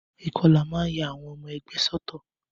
Ìkọlà a máa ya ọmọ ẹgbẹ́ sọ́tọ̀.